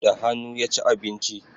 Da hanu ya ci abinci